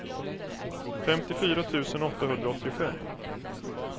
femtiofyra tusen åttahundraåttiofem